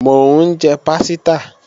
Mò ń jẹ pásítà